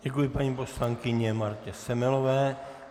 Děkuji paní poslankyni Martě Semelové.